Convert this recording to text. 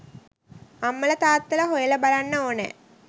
අම්මලා තාත්තලා හොයලා බලන්න ඕනෑ